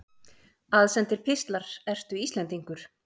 Aðsendir pistlar Ertu Íslendingur?